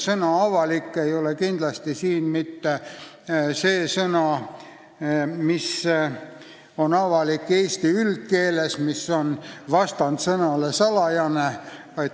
Sõna "avalik" ei ole siin kindlasti mitte selle tähendusega, nagu see on eesti üldkeeles, mis on vastand sõnale "salajane".